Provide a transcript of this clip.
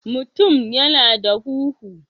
mutum yana da huhu